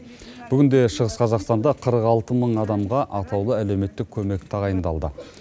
бүгінде шығыс қазақстанда қырық алты мың адамға атаулы әлеуметтік көмек тағайындалды